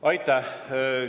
Aitäh!